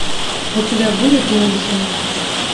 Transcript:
у тебя будет мюнхен